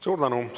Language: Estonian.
Suur tänu!